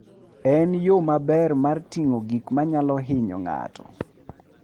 En yo maber mar ting'o gik manyalo hinyo ng'ato.